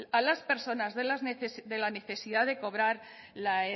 a las personas de la necesidad de cobrar la